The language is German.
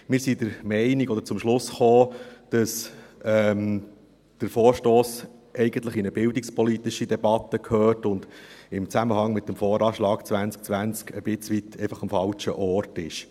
Wir sind zum Schluss gekommen, dass dieser Vorstoss eigentlich in eine bildungspolitische Debatte gehört und im Zusammenhang mit dem VA 2020 ein bisschen am falschen Ort ist.